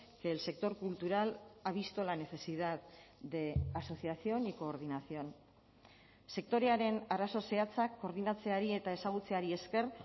que el sector cultural ha visto la necesidad de asociación y coordinación sektorearen arazo zehatzak koordinatzeari eta ezagutzeari esker